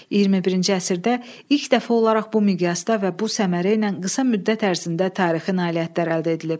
21-ci əsrdə ilk dəfə olaraq bu miqyasda və bu səmərə ilə qısa müddət ərzində tarixi nailiyyətlər əldə edilib.